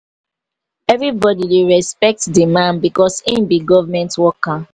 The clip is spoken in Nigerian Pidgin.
everybodi dey respect di man because im be government worker.